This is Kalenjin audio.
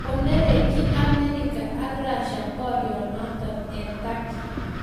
Konerkyi America ak Russia borionoto eng Turkey